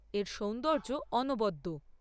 এর সৌন্দর্য অনবদ্য।